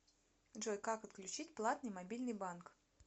джой как отключить платный мобильный банк